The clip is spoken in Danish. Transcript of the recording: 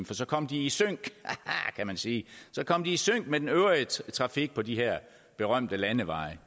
så kom de i sync kan man sige med den øvrige trafik på de her berømte landeveje